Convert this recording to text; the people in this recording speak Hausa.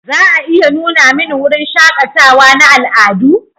Za a iya nuna mani wurin shakatawa na al'adu?